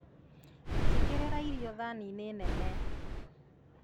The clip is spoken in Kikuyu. Njĩkĩrĩra irio thaniinĩ nene